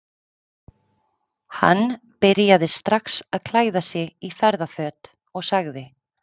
Hann byrjaði strax að klæða sig í ferðaföt og sagði